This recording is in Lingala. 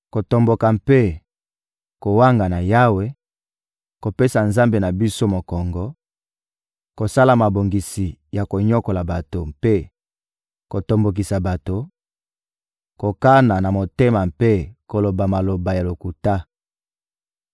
kotomboka mpe kowangana Yawe, kopesa Nzambe na biso mokongo, kosala mabongisi ya konyokola bato mpe kotombokisa bato, kokana na motema mpe koloba maloba ya lokuta.